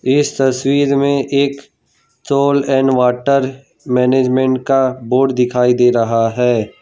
इस तस्वीर में एक सोल एंड वॉटर मैनेजमेंट का बोर्ड दिखाई दे रहा है।